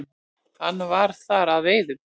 Hann var þar að veiðum.